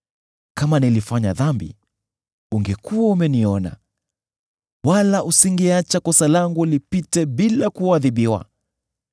Kama nilifanya dhambi, ungekuwa umeniona, wala usingeacha kosa langu lipite bila kuadhibiwa.